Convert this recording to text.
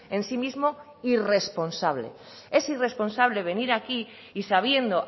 en sí mismo irresponsable es irresponsable venir aquí y sabiendo